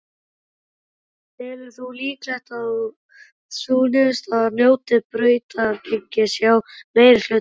Telur þú líklegt að sú niðurstaða njóti brautargengis hjá meirihlutanum?